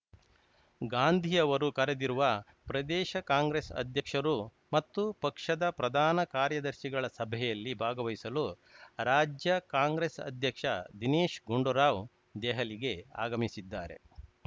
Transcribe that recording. ಗಾಂಧಿ ಅವರು ಕರೆದಿರುವ ಪ್ರದೇಶ ಕಾಂಗ್ರೆಸ್‌ ಅಧ್ಯಕ್ಷರು ಮತ್ತು ಪಕ್ಷದ ಪ್ರಧಾನ ಕಾರ್ಯದರ್ಶಿಗಳ ಸಭೆಯಲ್ಲಿ ಭಾಗವಹಿಸಲು ರಾಜ್ಯ ಕಾಂಗ್ರೆಸ್‌ ಅಧ್ಯಕ್ಷ ದಿನೇಶ್‌ ಗುಂಡೂರಾವ್‌ ದೆಹಲಿಗೆ ಆಗಮಿಸಿದ್ದಾರೆ